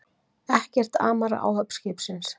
Ekkert amar að áhöfn skipsins